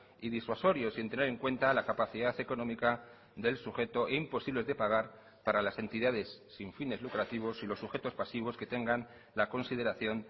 y disuasorio sin tener en cuenta la capacidad económica del sujeto imposibles de pagar para las entidades sin fines lucrativos y los sujetos pasivos que tengan la consideración